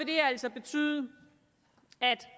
det her altså betyde at